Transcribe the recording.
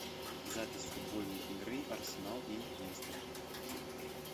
запись футбольной игры арсенал и лестер